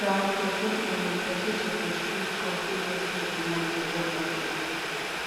um persin um persin suppose choose course wey get high demand for job market